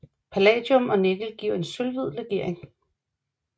Palladium og nikkel giver en sølvhvid legering